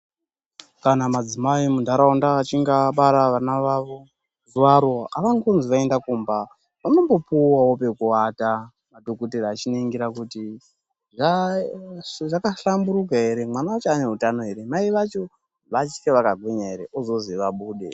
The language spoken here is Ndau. Kana madzimai muntaraunda achinge abara vana vavo zuvaro havangozi vaende kumba. Vanombopuvavo pekuvata madhogodheya achiningira kuti zvakahlamburuka ere mwana vacho ane hutano ere, mai vacho vachiri vakagwinya ere, vozozi vabude.